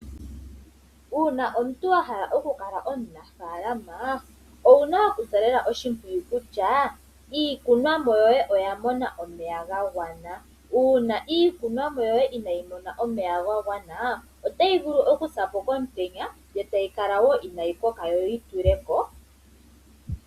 Uuna omuntu wa hala oku kala omunafaalama, owuna okusa lela oshimpwiyu kutya iikunwamo yoye oya mona omeya ga gwana. Uuna iikunwamo yoye inaayi mona omeya ga gwana, otayi vulu oku sa po komutenya, yo tayi kala wo inaayi koka yo yi tuleko.